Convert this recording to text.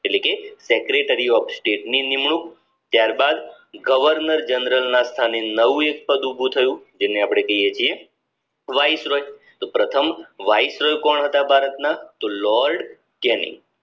એટલે કે Secretary of state નિમણુંક ત્યાર બાદ governor general ના સ્થાને નવું એક પદ ઉભું થયું જેને અપડે કહીયે છીએ વાઇસરલ તો પ્રથમ વાઇસરલ કોણ હતા ભારત ના તો lord jeni